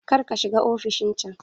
Kar ka shiga ofishin can!